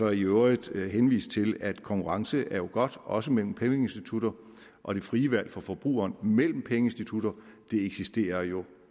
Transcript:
og i øvrigt henvise til at konkurrence er godt også mellem pengeinstitutter og det frie valg for forbrugerne mellem pengeinstitutter eksisterer jo